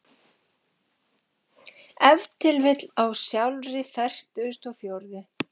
Ef til vill á sjálfri fertugustu og fjórðu.